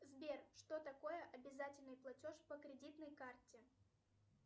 сбер что такое обязательный платеж по кредитной карте